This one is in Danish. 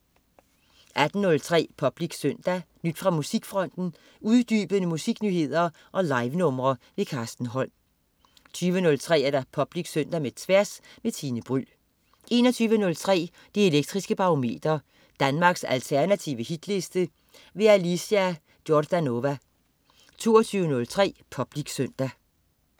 18.03 Public Søndag. Nyt fra musikfronten, uddybende musiknyheder og livenumre. Carsten Holm 20.03 Public Søndag med Tværs. Tine Bryld 21.03 Det elektriske Barometer. Danmarks alternative hitliste. Alicia Jordanova 22.03 Public Søndag